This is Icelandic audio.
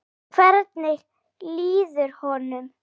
Hvernig líður honum?